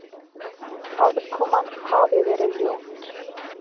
Aðkoman hafi verið ljót